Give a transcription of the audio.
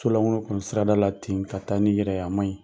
So langolo kɔni sira da la ten ka ta ni yɛrɛ a ma ɲi.